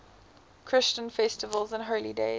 christian festivals and holy days